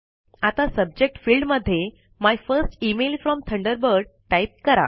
आता subject field मध्ये my first email from Thunderbird type करा